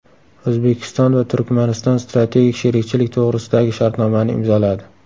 O‘zbekiston va Turkmaniston Strategik sherikchilik to‘g‘risidagi shartnomani imzoladi.